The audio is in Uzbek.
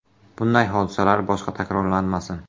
Bunday hodisalar boshqa takrorlanmasin.